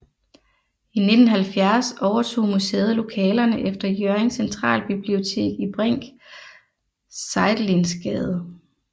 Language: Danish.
I 1970 overtog museet lokalerne efter Hjørring Centralbibliotek i Brinck Seidelins Gade